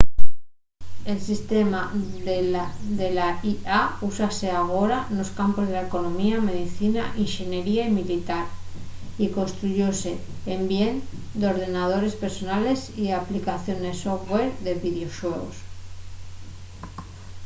el sistema de la ia úsase agora nos campos de la economía medicina inxeniería y militar y construyóse en bien d’ordenadores personales y aplicaciones software de videoxuegos